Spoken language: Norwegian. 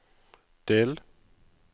del